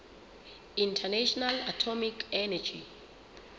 international atomic energy